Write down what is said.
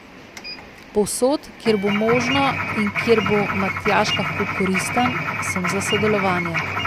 Povsod, kjer bo možno in kjer bo Matjaž lahko koristen, sem za sodelovanje.